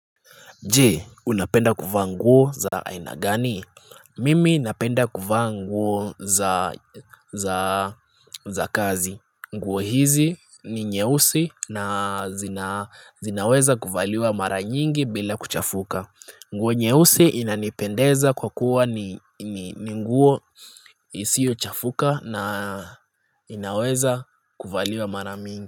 Jee, unapenda kuvaa nguo za aina gani? Mimi napenda kuvaa nguo za kazi. Nguo hizi ni nyeusi na zinaweza kuvaliwa mara nyingi bila kuchafuka. Nguo nyeusi inanipendeza kwa kuwa ni nguo isiyochafuka na inaweza kuvaliwa mara mingi.